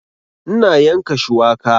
Ina yanka shuwaka